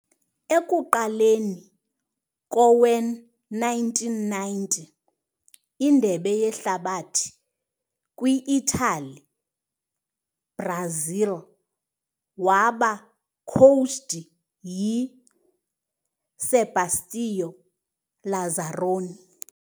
Ekuqaleni kowe-1990 Indebe Yehlabathi kwi-Italy, Brazil waba coached yi - Sebastião Lazaroni.